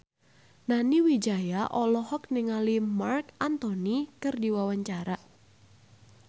Nani Wijaya olohok ningali Marc Anthony keur diwawancara